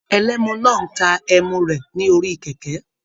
Ẹlẹ́mú náà n tá ẹ́mú rẹ lórí kẹkẹ.